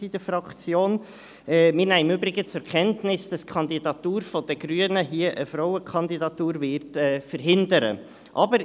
Wir nehmen im Übrigen zur Kenntnis, dass die Kandidatur der Grünen hier eine Frauenkandidatur verhindern wird.